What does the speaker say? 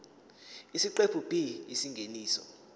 isiqephu b isingeniso